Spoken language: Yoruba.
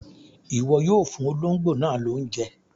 Iwọ yoo fuun ologbo naa lounje!